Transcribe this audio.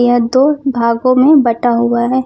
ये दो भागों में बटा हुआ है।